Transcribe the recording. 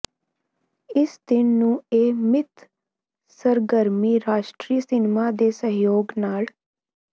ਇਸ ਦਿਨ ਨੂੰ ਇਹ ਮਿੱਥ ਸਰਗਰਮੀ ਰਾਸ਼ਟਰੀ ਸਿਨੇਮਾ ਦੇ ਸਹਿਯੋਗ ਨਾਲ